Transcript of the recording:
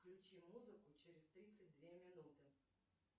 включи музыку через тридцать две минуты